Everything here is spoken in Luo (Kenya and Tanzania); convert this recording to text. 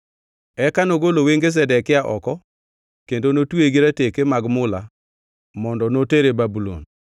Eka nogolo wenge Zedekia oko kendo notweye gi rateke mag mula mondo notere Babulon.